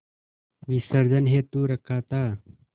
विसर्जन हेतु रखा था